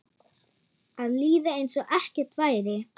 Að líða einsog ekkert væri.